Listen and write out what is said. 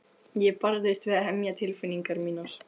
Ég barðist við að hemja tilfinningar mínar.